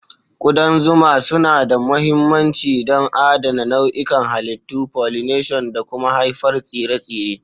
Kudan zuma suna da mahimmanci don adana nau'ikan halittu, pollination, da kuma haifuwar tsire-tsire.